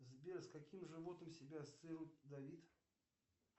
сбер с каким животным себя ассоциирует давид